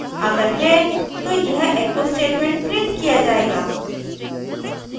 अगर है तो यह echo statement printed किया जायेगा